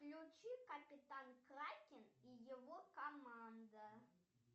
включи капитан кракен и его команда